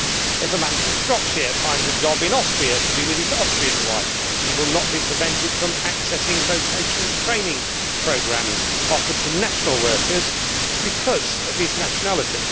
If a man from Shropshire finds a job in Austria to be with his Austrian wife, he will not be prevented from accessing vocational training programmes offered to national workers because of his nationality.